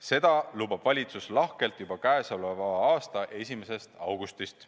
Seda lubab valitsus lahkelt juba käesoleva aasta 1. augustist.